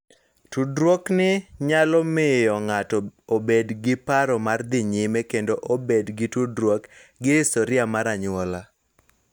Tudruokni nyalo miyo ng�ato obed gi paro mar dhi nyime kendo bedo gi tudruok gi historia mar anyuola .